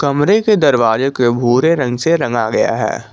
कमरे के दरवाजे के भूरे रंग से रंगा गया है।